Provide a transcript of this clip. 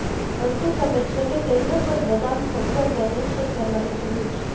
અંતે તમે છેલ્લે કેન્દ્ર પર બદામ સજ્જડ બને છે કરવાની જરૂર છે